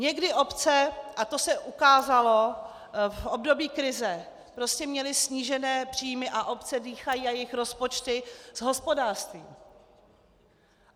Někdy obce, a to se ukázalo v období krize, prostě měly snížené příjmy, a obce dýchají a jejich rozpočty s hospodářstvím.